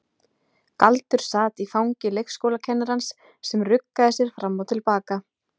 Galdur sat í fangi leikskólakennarans sem ruggaði sér fram og til baka.